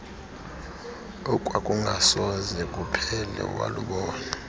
okwakungasoze kuphele walubona